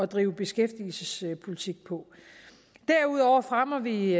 drive beskæftigelsespolitik på derudover fremmer vi